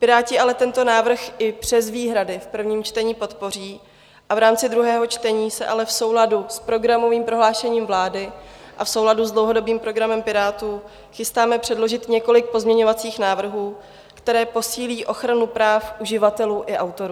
Piráti ale tento návrh i přes výhrady v prvním čtení podpoří a v rámci druhého čtení se ale v souladu s programovým prohlášením vlády a v souladu s dlouhodobým program Pirátů chystáme předložit několik pozměňovacích návrhů, které posílí ochranu práv uživatelů i autorů.